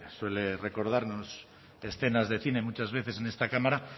suele recordarnos escenas de cine muchas veces en esta cámara